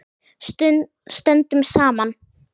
Stöndum saman.